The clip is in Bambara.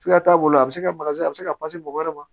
Cogoya t'a bolo a bɛ se ka a bɛ se ka mɔgɔ wɛrɛ ma